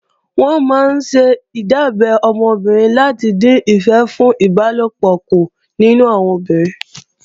Wọ́n máa ńṣe ìdábẹ́ ọmọ obìnrin láti dín ìfẹ́ fún ìbálòpọ̀ kù nínú àwọn obìnrin